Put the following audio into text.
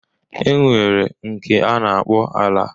E nwere nke a na-akpọ ala